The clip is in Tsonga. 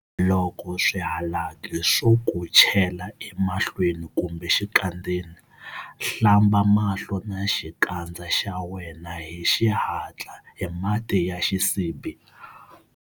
Loko swihalaki swo ku chela emahlweni kumbe exikandzeni, hlamba mahlo na xikandza xa wena hi xihatla hi mati ya xisibi.